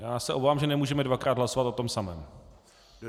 Já se obávám, že nemůžeme dvakrát hlasovat o tom samém.